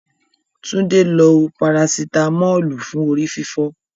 Túndé lo Parasitamọ́ọ̀lù fún orí fífọ́.